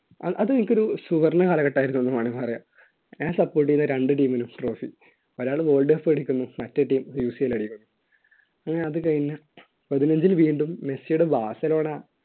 അതെനിക്കൊരു സുവർണ്ണ കാലഘട്ടം ആയിരുന്നു എന്നുവേണമെങ്കി പറയാം ഞാൻ support ചെയ്ത രണ്ട് team നും trophy ഒരാള് world cup മേടിക്കുന്നു മറ്റേ teamUCL അടിക്കുന്നു പിന്നെ അത് കഴിഞ്ഞ് പതിനഞ്ച് ന് വീണ്ടും മെസ്സിയുടെ ബാസിലോണ